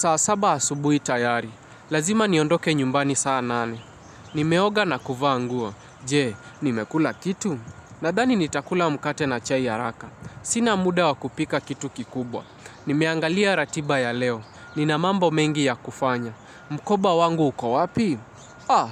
Saa saba asubuhi tayari, lazima niondoke nyumbani saa nane. Nimeoga na kuvaa nguo, je, nimekula kitu? Nadhani nitakula mkate na chai ya haraka. Sina muda wa kupika kitu kikubwa. Nimeangalia ratiba ya leo, nina mambo mengi ya kufanya. Mkoba wangu uko wapi? Ah,